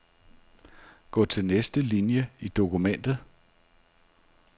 Gå til næste linie i dokumentet.